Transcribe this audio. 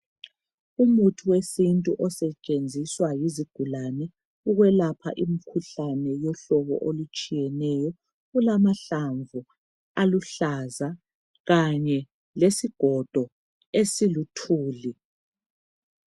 Umuthi wesintu osetshenziswa yizigulwane ukwelapha imikhuhlane yohlobo olutshiyeneyo kulamahlamvu aluhlaza kanye lesigodo esiluthuli